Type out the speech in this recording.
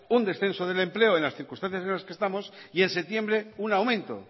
un descenso del empleo en las circunstancias en las que estamos y en septiembre un aumento